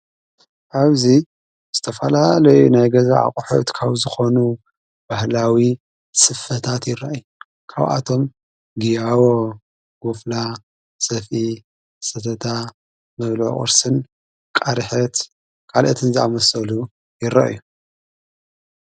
ኣብዙ ስተፋላ ለይ ናይ ገዛ ኣቕሒት ካብ ዝኾኑ ባህላዊ ስፈታት ይረ እዩ ካውኣቶም ግያዎ ጐፍላ ሰፊ ሰተታ መብልቕስን ቃርሐት ቃልአትን ዝኣመሰሉ ይረእዩ።